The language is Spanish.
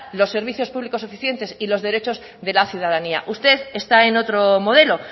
los servicios públicos suficientes y los derechos de la ciudadanía usted está en otro modelo